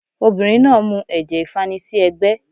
Obìnrin náà mu ẹ̀jẹ̀ ìfanisí ẹ́gbẹ́